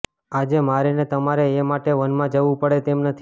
આજે મારે ને તમારે એ માટે વનમાં જવું પડે તેમ નથી